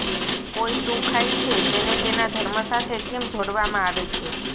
કોઈ શું ખાય છે તેને તેના ધર્મ સાથે કેમ જોડવામાં આવે છે